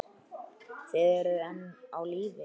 Þið eruð enn á lífi!